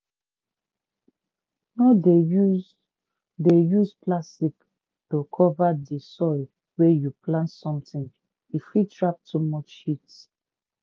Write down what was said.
no dey use dey use plastic to cover di soil wey you plant something e fit trap too much heat.